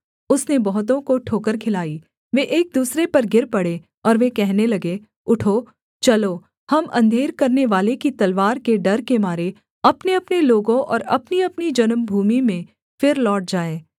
उसने बहुतों को ठोकर खिलाई वे एक दूसरे पर गिर पड़े और वे कहने लगे उठो चलो हम अंधेर करनेवाले की तलवार के डर के मारे अपनेअपने लोगों और अपनीअपनी जन्मभूमि में फिर लौट जाएँ